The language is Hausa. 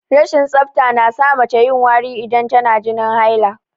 Rashin tsafta na sa mace yin wari idan tana jinin haila